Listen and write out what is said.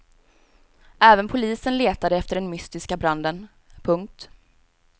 Även polisen letade efter den mystiska branden. punkt